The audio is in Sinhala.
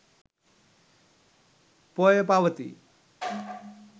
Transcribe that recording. පෝය පවතී.